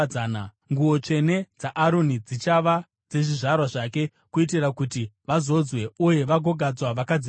“Nguo tsvene dzaAroni dzichava dzezvizvarwa zvake kuitira kuti vazodzwe uye vagogadzwa vakadzipfeka.